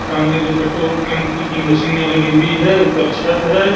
सामने दो पेट्रोल टंकी की मशीनें लगी हुई है। ऊपर छत हैं।